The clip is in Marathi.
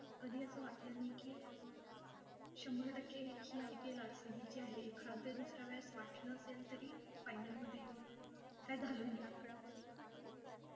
कधी अस वाटलं नाही, की शंभर टक्के ही IPL, RCB ची आहे. एखाद्या दुसऱ्या वेळेस वाटलं असेल तरी final मध्ये येऊन काही झालं नाही.